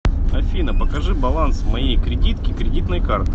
афина покажи баланс моей кредитки кредитной карты